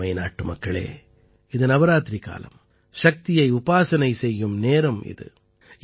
எனதருமை நாட்டுமக்களே இது நவராத்திரி காலம் சக்தியை உபாசனை செய்யும் நேரம் இது